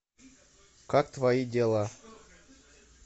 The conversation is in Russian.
как твои дела